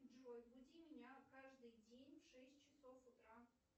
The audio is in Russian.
джой буди меня каждый день в шесть часов утра